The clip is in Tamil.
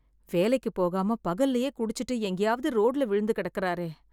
வேலைக்கு போகாம பகல்லேயே குடிச்சிட்டு எங்கேயாவது ரோட்ல விழுந்து கிடக்கிறாரே.